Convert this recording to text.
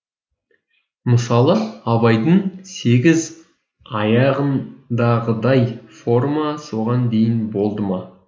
мысалы абайдың сегіз аяғындағыдай форма соған дейін болды ма